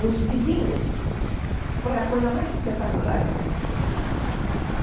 Os vizinhos, foi a coisa mais espetacular que aconteceu.